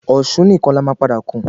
Osùn nìkan la má padà kún